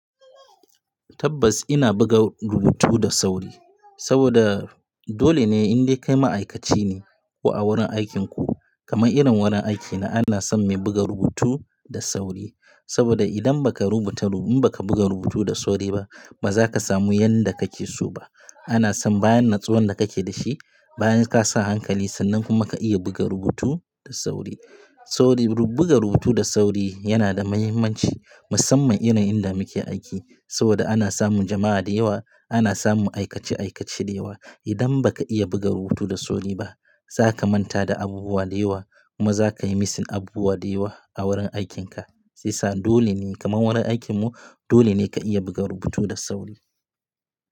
Tabbas, ina buga rubutu da sauri saboda dole ne in dai kai ma'aikaci ne, ko a wurin aikinku, kamar irin wurin aikina ana son mai buga rubutu da sauri. Saboda idan ba ka rubuta, in ba ka buga rubutu da sauri ba, ba za ka samu yanda kake so ba. Ana son bayan natsuwan da kake da shi, bayan ka sa hankali, sannan kuma ka iya buga rubutu da sauri. Sauri buga rubutu da sauri yana da muhimmanci, musamman irin inda muke aiki saboda ana samun jama'a da yawa, ana samun aikace aikace da yawa. Idan ba ka iya buga rubutu da sauri ba, za ka manta da abubuwa da yawa, kuma za ka yi missing abubuwa da yawa a wurin aikinka. Shi ya sa dole ne kamar wurin aikinmu, dole ne ka iya buga rubutu da sauri.